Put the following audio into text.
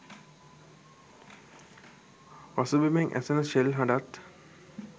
පසුබිමෙන් ඇසෙන ෂෙල් හඬත්